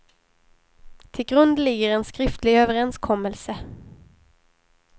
Till grund ligger en skriftlig överenskommelse.